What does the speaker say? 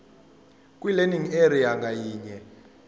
kwilearning area ngayinye